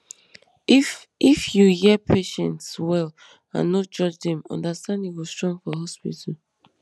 if if you hear patients well and no judge dem understanding go strong for hospital